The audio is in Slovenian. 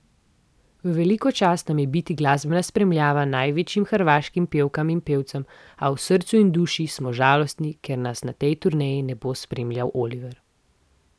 V veliko čast nam je biti glasbena spremljava največjim hrvaškim pevkam in pevcem, a v srcu in duši smo žalostni, ker nas na tej turneji ne bo spremljal Oliver.